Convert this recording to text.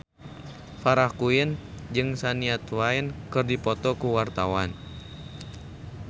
Farah Quinn jeung Shania Twain keur dipoto ku wartawan